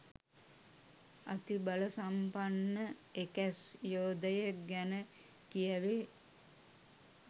අති බලසම්පන්න එකැස් යෝධයෙක් ගැන කියැවේ.